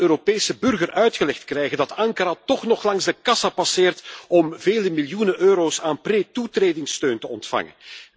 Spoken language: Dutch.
Gaan we het aan de Europese burger uitgelegd krijgen dat Ankara toch nog langs de kassa passeert om vele miljoenen euro's aan pre toetredingssteun te ontvangen?